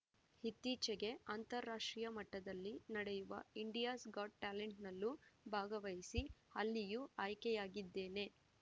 ಇತ್ತೀಚೆಗೆ ಅಂತಾಷ್ಟ್ರೀಯ ಮಟ್ಟದಲ್ಲಿ ನಡೆಯುವ ಇಂಡಿಯಾಸ್‌ ಗಾಟ್‌ ಟ್ಯಾಲೆಂಟ್‌ನಲ್ಲೂ ಭಾಗವಹಿಸಿ ಅಲ್ಲಿಯೂ ಆಯ್ಕೆಯಾಗಿದ್ದೇನೆ